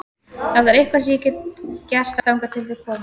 Ef það er eitthvað sem ég get gert þangað til þið komið